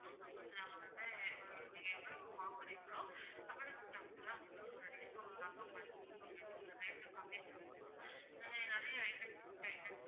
ஆமா ma'am நாங்க வந்து நீங்க எவ்வளோ வாங்குறீங்களோ அவ்வளவுக்கு தகுந்துதான் உங்களுக்கு ஒரு discount நாங்க பண்ணுவோம் ma'am நாங்க ஒரு rate கம்மிப்பண்ணுவோம் அஹ் நிறைய items